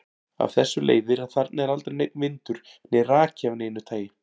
Af þessu leiðir að þarna er aldrei neinn vindur né raki af neinu tagi.